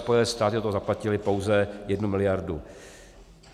Spojené státy do toho zaplatily pouze jednu miliardu.